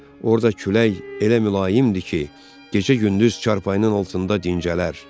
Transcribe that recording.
Orada külək elə mülayimdir ki, gecə-gündüz çarpayının altında dincələr.